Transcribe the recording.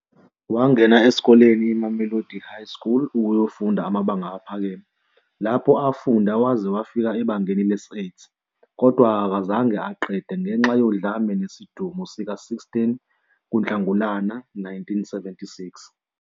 Wangena esikoleni iMamelodi High School ukuyofunda amabanga aphakeme lapho afundan waze wafika ebangeni lesi-8, kodwa azange aqede ngenxa yodlame nesidumo sika se-16 Nhlangulana 1976.